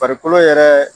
Farikolo yɛrɛ